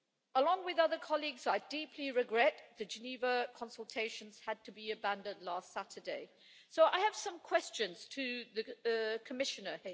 Along with other colleagues, I deeply regret that the Geneva consultations had to be abandoned last Saturday, so I have some questions for the Commissioner.